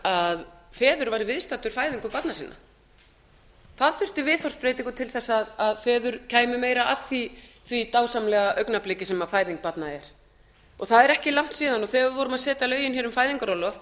að feður væru viðstaddir fæðingu barna sinna það þurfi viðhorfsbreytingu til að feður kæmu meira að því dásamlega augnabliki sem fæðing barna er og það er ekki langt síðan þegar við vorum að setja lögin um fæðingarorlof